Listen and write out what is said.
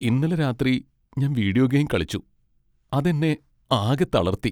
ഇന്നലെ രാത്രി ഞാൻ വീഡിയോ ഗെയിം കളിച്ചൂ , അത് എന്നെ ആകെ തളർത്തി.